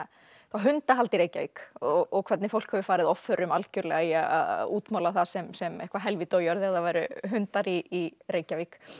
hundahald í Reykjavík og hvernig fólk hefur farið algjörlega í að útmála það sem sem eitthvað helvíti á jörð ef það væru hundar í Reykjavík